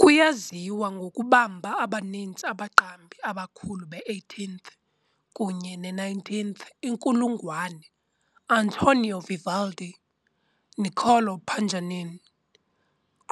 Kuyaziwa ngokubamba abaninzi abaqambi abakhulu be18th kunye ne19th inkulungwane - Antonio Vivaldi, Niccolò Paganini,